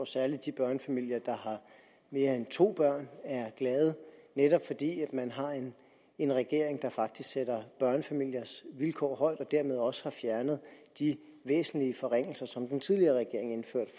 særlig de børnefamilier der har mere end to børn er glade netop fordi man har en regering der faktisk sætter børnefamiliernes vilkår højt og som dermed også har fjernet de væsentlige forringelser som den tidligere regering indførte